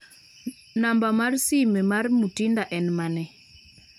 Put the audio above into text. namba mar sime mar Mutinda en mane